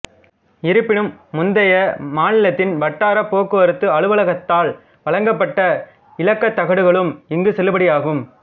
இருப்பினும் முந்தைய மாநிலத்தின் வட்டார போக்குவரத்து அலுவலகத்தால் வழங்கப்பட்ட இலக்கத்தகடுகளும் இங்கு செல்லுபடியாகும்